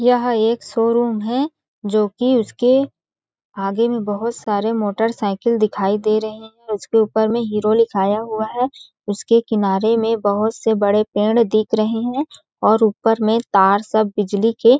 यह एक शोरूम हे जोकी उसके आगे में बहोत सारे मोटर साइकिल दिखाई दे रहे है और उसके ऊपर में हीरो लिखाया हुआ है उसके किनारे में बहोत से बड़े पेड़ दिख रहे है और ऊपर में तार सब बिजली के --